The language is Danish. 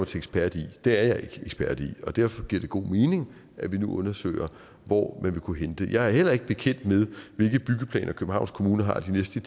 til ekspert i det er jeg ikke ekspert i derfor giver det god mening at vi nu undersøger hvor man vil kunne hente det jeg er heller ikke bekendt med hvilke byggeplaner københavns kommune har de næste